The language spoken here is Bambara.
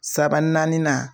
Saba naani na